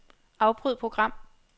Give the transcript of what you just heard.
Afbryd program.